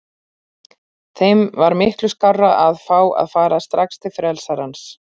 Þeim var miklu skárra að fá að fara strax til frelsarans.